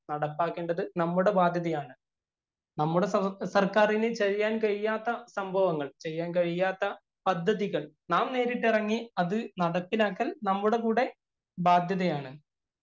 നടപ്പാക്കേണ്ടത് നമ്മുടെ ബാധ്യതയാണ്‌. നമ്മുടെ സര്‍ക്കാരിനു ചെയ്യാന്‍ കഴിയാത്ത സംഭവങ്ങള്‍, ചെയ്യാന്‍ കഴിയാത്ത പദ്ധതികള്‍ നാം നേരിട്ടിറങ്ങി അത് നടപ്പിലാക്കല്‍ നമ്മുടെ കൂടെ ബാധ്യതയാണ്‌.